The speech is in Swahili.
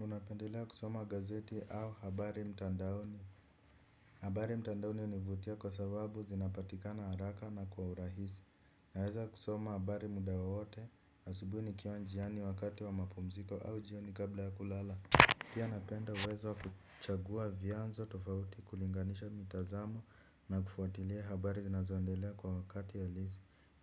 Unapendelea kusoma gazeti au habari mtandaoni. Habari mtandaoni hunivutia kwa sababu zinapatikana haraka na kwa urahisi. Naweza kusoma habari muda wowote asubui nikiwa njiani wakati wa mapumziko au jioni kabla ya kulala. Pia napenda uwezo wa kuchagua vyanzo tofauti kulinganisha mitazamo na kufuatilia habari zinazoendelea kwa wakati ya halisi.